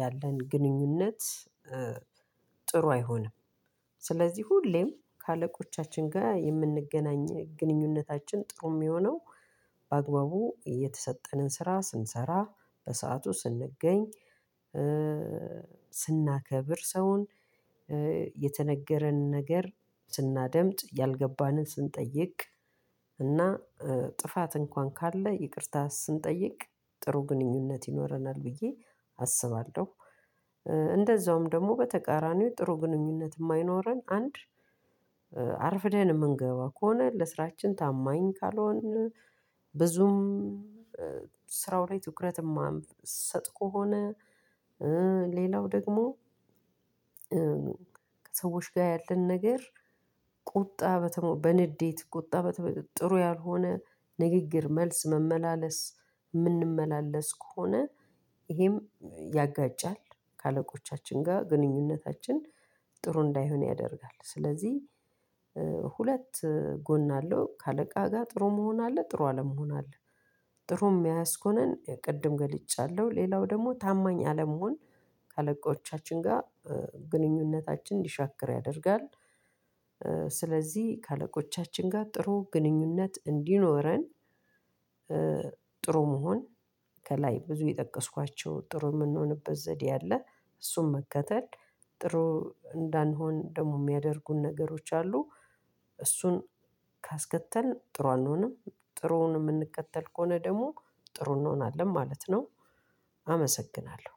ያለን ግንኙነት ጥሩ አይሆንም። ስለዚህ ሁሌም ከአለቆቻችን ጋር የምንገናኝ ግንኙነታችን ጥሩ የሚሆነው፤ በአግባቡ የተሰጠንን ስራ ስንሰራ በሰአቱ ስንገኝ ስናከብር ሰውን የተነገረን ነገር ስናደምጥ፤ ያልገባንን ስንጠይቅ፤ እና ጥፋት እንኳን ካለ ይቅርታ ስንጠይቅ ጥሩ ግንኙነት ይኖረናል ብዬ አስባለሁ። እንደዛውም ደግሞ በተቃራኒው ጥሩ ግንኙነት የማይኖረን አንድ አርፍደን የምንገባ ከሆነ ለስራችን ታማኝ ካልሆን ብዙም ስራው ላይ ትኩረት የማንሰጥ ከሆነ ሌላው ደግሞ ከሰዎች ጋር ያለን ነገር ቁጣ በንዴት ቁጣ በተሞላ ጥሩ ያልሆነ ንግግር መልስ መመላለስ የምንመላለስ ከሆነ፤ ይሄም ያጋጫል። ከአለቆቻችን ጋር ግንኙነታችን ጥሩ እንዳይሆን ያደርጋል። ስለዚህ ሁለት ጎን አለው ከአለቃ ጋር ጥሩ መሆን አለ ጥሩ አለመሆን አለ። ጥሩ የሚያኮነን ቅድም ገልጫለሁ ሌላው ደግሞ ታማኝ አለመሆን ከለቆቻችን ጋር ግንኙነታችን እንዲሻክር ያደርጋል። ስለዚህ ከአለቆቻችን ጋር ጥሩ ግንኙነት እንዲኖረን ጥሩ መሆን ከላይ ብዙ የጠቀስኳቸው ጥሩ የምንሆንበት ዘዴ አለ እሱን መከተል ጥሩ እንዳንሆን ደግሞ የሚያደርጉን ነገሮች አሉ። እሱን ካስከተልን ጥሩ አንሆንም። ጥሩውን የምንከተል ከሆነ ደግሞ ጥሩ እንሆናለን ማለት ነው አመሰግናለሁ።